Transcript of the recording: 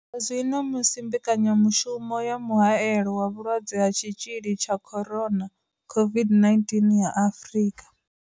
Zwino musi mbekanyamushumo ya mu haelo wa vhulwadze ha tshi tzhili tsha Corona COVID-19 ya Afrika.